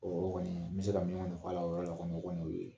Ɔ o kɔni n bɛ se ka min kɔni f'ala o yɔrɔ la o kɔni y' o ye